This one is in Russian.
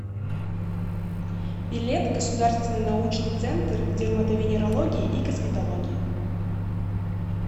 билет государственный научный центр дерматовенерологии и косметологии